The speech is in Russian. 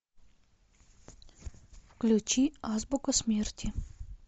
включи азбука смерти